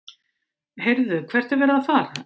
HEYRÐU, HVERT ER VERIÐ AÐ FARA?